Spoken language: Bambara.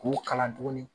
K'u kalan tuguni